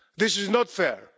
This is not fair.